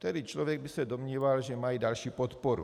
Tedy člověk by se domníval, že mají další podporu.